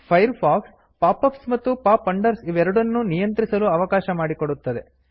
fire fox pop ups ಮತ್ತು pop unders ಇವೆರಡನ್ನೂ ನಿಯಂತ್ರಿಸಲು ಅವಕಾಶ ಮಾಡಿಕೊಡುತ್ತದೆ